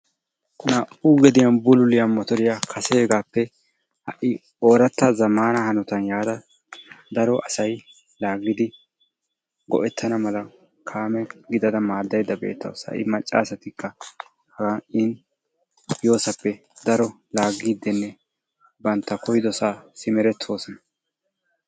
Naa'u gediyan bululliya motoriya kaseegaappe ha'i zamaana hanotan laagiodi go'etana mala laagayda beetawusu. macca asatinne banta koyidosaa laagaydda beetawusu.